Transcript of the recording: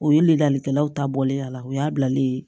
O ye ladalikɛlaw ta bɔlen a la o y'a bilalen ye